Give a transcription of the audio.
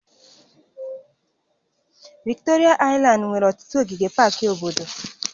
Viktoria aịlandị nwere ọtụtụ ogige pak obodo